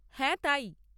হ্যাঁ, তাই।